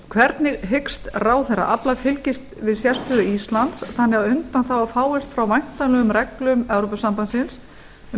hvernig hyggst ráðherra afla fylgis við sérstöðu íslands þannig að undanþága fáist frá væntanlegum reglum evrópusambandsins um